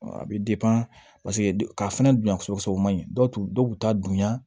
A bɛ paseke k'a fɛnɛ dun ka sɔn o ma ɲi dɔw tun t'a dunya